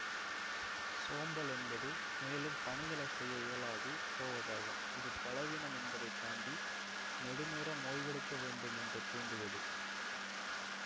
சோம்பல் என்பது மேலும் பணிகளை செய்ய இயலாது போவதாகும் இது பலவீனம் என்பதனைத் தாண்டி நெடுநேரம் ஓய்வெடுக்க வேண்டும் என்று தூண்டுவது